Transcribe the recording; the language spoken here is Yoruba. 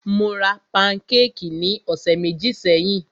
Mó rá pankékì ní ọ̀sẹ̀ méjì sẹ́yìn.